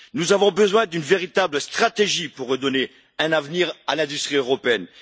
Nous avons besoin d'une véritable stratégie pour redonner un avenir à l'industrie européenne.